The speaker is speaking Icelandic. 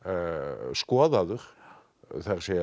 skoðaður það er